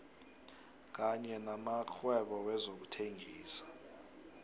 kanye namakghwebo wezokuthengisa